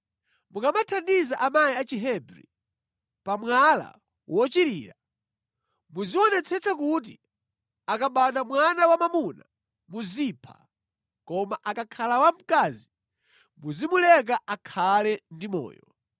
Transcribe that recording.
“Mukamathandiza amayi a Chihebri pa mwala wochirira, muzionetsetsa kuti akabadwa mwana wamwamuna muzipha, koma akakhala wamkazi muzimuleka akhale ndi moyo.”